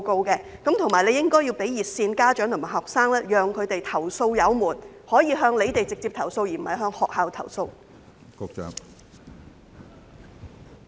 此外，當局亦應向家長和學生提供熱線服務，讓他們投訴有門，可以讓他們直接向當局投訴，而不是向學校投訴。